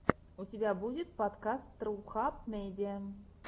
у тебя будет подкаст рухаб медиа